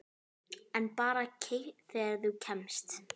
En bara þegar þú kemst.